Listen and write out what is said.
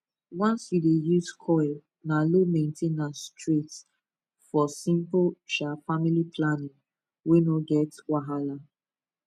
once you dey use coil na low main ten ance straight for simple um family planning wey no get wahala